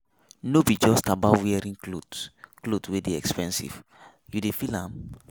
No be just about wearing cloth cloth wey dey expensive, you dey feel am?